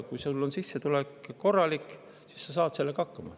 Kui sul on sissetulek korralik, siis sa saad sellega hakkama.